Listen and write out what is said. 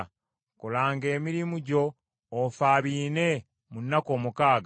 Kolanga emirimu gyo, ofaabiine mu nnaku omukaaga,